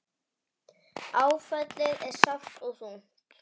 Áfallið er sárt og þungt.